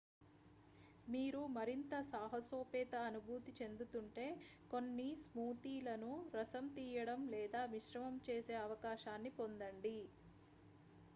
మీరు మరింత సాహసోపేత అనుభూతి చెందుతుంటే కొన్ని స్మూతీలను రసం తీయడం లేదా మిశ్రమం చేసే అవకాశాన్ని పొందండి